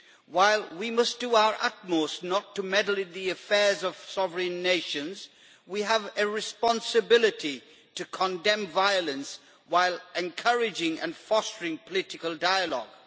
While we must do our utmost not to meddle in the affairs of sovereign nations, we have a responsibility to condemn violence while encouraging and fostering political dialogue.